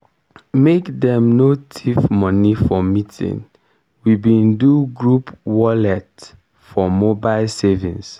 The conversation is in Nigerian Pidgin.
make dem no thief moni for meeting we bin do group wallent for mobile savings.